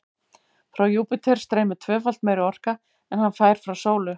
Frá Júpíter streymir tvöfalt meiri orka en hann fær frá sólu.